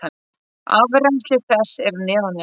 Afrennsli þess er neðanjarðar.